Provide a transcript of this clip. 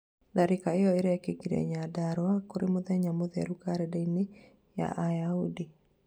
tharikĩra ĩyo irĩkĩkire Nyandarua, kũrĩ mũthenya mũtheru karendaini ya ayahudi